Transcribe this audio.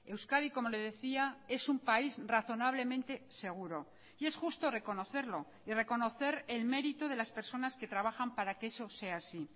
euskadi como le decía es un país razonablemente seguro y es justo reconocerlo y reconocer el mérito de las personas que trabajan para que eso sea así